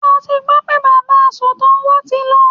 Ṣé o ti gbọ́ pé bàbá asọ̀tàn wa ti lọ?